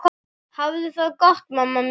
Hafðu það gott mamma mín.